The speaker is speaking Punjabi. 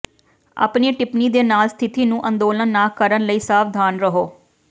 ਆਪਣੀ ਟਿੱਪਣੀ ਦੇ ਨਾਲ ਸਥਿਤੀ ਨੂੰ ਅੰਦੋਲਨ ਨਾ ਕਰਨ ਲਈ ਸਾਵਧਾਨ ਰਹੋ